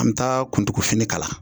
An bɛ taa kuntugu fini kala.